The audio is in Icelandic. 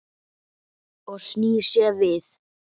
Og snýr sér við.